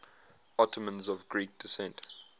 ottomans of greek descent